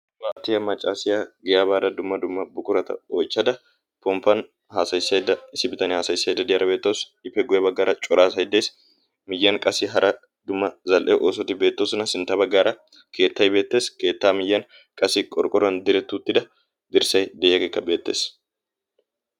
paatiyaa maccaasiyaa giyaabaara dumma dumma bukurata oichchada pomppan haasayissaidda issi bitania haasayissaidda diyaara beettoosi ipeguwaa baggaara coraa saiddees miyyan qasi hara dumma zal7e oosoti beettoosina sintta baggaara keettai beettees keettaa miyyan qasi qorqqoran direttuttida dirssai de7iyaageekka beettees